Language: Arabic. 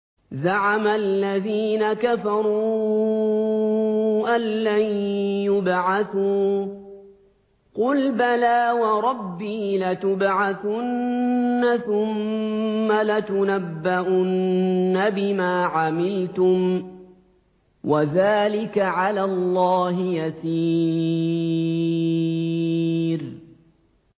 زَعَمَ الَّذِينَ كَفَرُوا أَن لَّن يُبْعَثُوا ۚ قُلْ بَلَىٰ وَرَبِّي لَتُبْعَثُنَّ ثُمَّ لَتُنَبَّؤُنَّ بِمَا عَمِلْتُمْ ۚ وَذَٰلِكَ عَلَى اللَّهِ يَسِيرٌ